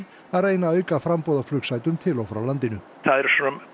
að reyna að auka framboð á flugsætum til og frá landinu það eru